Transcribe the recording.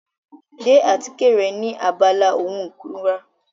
Gbé àtíkè rẹ ní abala ohun ìkunra.